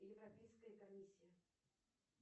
европейская комиссия